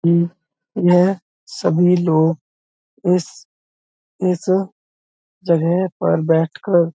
यह सभी लोग इस इस जगह पर बैठकर--